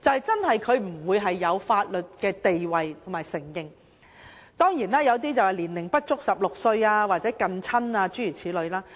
即它不具法律地位和不獲承認，條文規定年齡不足16歲或近親不得結婚等。